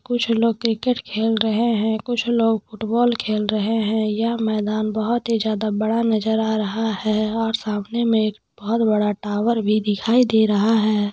कुछ लोग क्रिकेट खेल रहें हैं कुछ लोग फुटबॉल खेल रहें हैं यह मैदान बहुत ही ज्यादा बड़ा नजर आ रहा है और सामने में एक बहुत बड़ा टावर भी दिखाई दे रहा है।